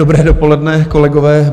Dobré dopoledne, kolegové.